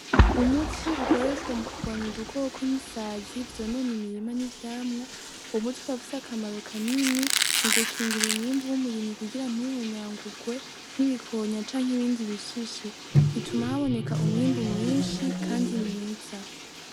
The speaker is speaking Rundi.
Umuti ukoreshwa mukurwanya udukoko nk'isazi vyonona imirima n'ivyamwa, uwo muti ukaba ufise akamaro kanini, mugukingira umwimbu w'umurimyi kugira ntuhonyangurwe n'ibikonya canke ibindi bihishije. Bituma haboneka umwimbu mwinshi kandi mwiza.